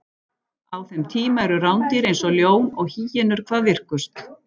Á þeim tíma eru rándýr eins og ljón og hýenur hvað virkust.